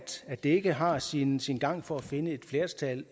det ikke har sin sin gang for at finde et flertal